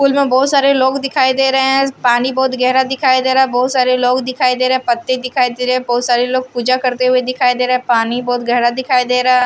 पुल में बहुत सारे लोग दिखाई दे रहे हैं पानी बहुत गहरा दिखाई दे रहा है बहुत सारे लोग दिखाई दे रहे हैं पत्ते दिखाई दे रहे हैं बहुत सारे लोग पूजा करते हुए दिखाई दे रहा है पानी बहुत गहरा दिखाई दे रहा है।